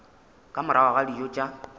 ka morago ga dijo tša